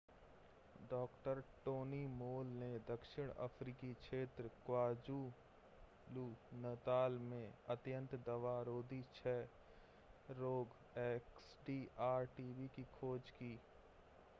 डॉ. Tony Moll ने दक्षिण अफ्रीकी क्षेत्र क्वाज़ुलु-नताल में अत्यंत दवा-रोधी क्षय रोग एक्सडीआर-टीबी की खोज की।